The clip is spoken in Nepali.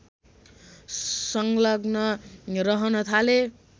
सङ्लग्न रहन थाले